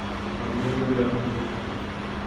омега рядом